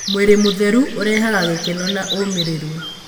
Mwĩrĩ mũtheru ũrehaga gĩkeno na ũmĩrĩru.